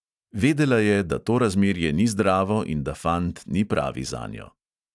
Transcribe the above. Vedela je, da to razmerje ni zdravo in da fant ni pravi zanjo.